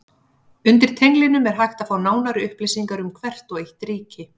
Undir tenglinum er hægt að fá nánari upplýsingar um hvert og eitt ríki.